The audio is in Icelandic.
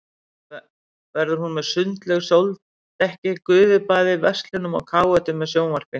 Verður hún með sundlaug, sóldekki, gufubaði, verslunum og káetum með sjónvarpi.